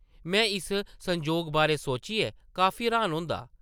में इस संजोग बारै सोचियै काफी र्हान होंदा ।